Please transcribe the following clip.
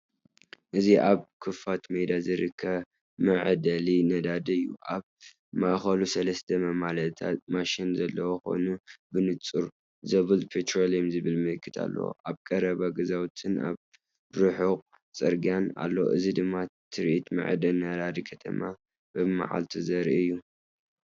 እዚ ኣብ ክፉት ሜዳ ዝርከብ መዐደሊ ነዳዲ እዩ። ኣብ ማእከሉ ሰለስተ መመላእታ ማሽናት ዘለዎ ኮይነነን፡ብንጹር ‘ዞብለ ፔትሮሊየም’ ዝብል ምልክት ኣለዎ። ኣብ ቀረባ ገዛውትን ኣብ ርሑቕ ጽርግያን ኣሎ። እዚ ድማ ትርኢት መዐደሊ ነዳድን ከተማን ብመዓልቲ ዘርኢ እዩ።